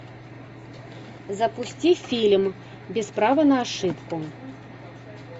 запусти фильм без права на ошибку